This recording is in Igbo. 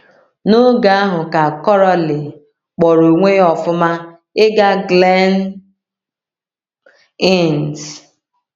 N’oge ahụ ka Coralie kpọrọ onwe ya ọ̀fụma ịga Glen Innes.